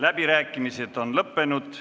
Läbirääkimised on lõppenud.